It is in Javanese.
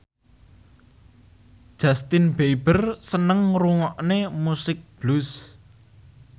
Justin Beiber seneng ngrungokne musik blues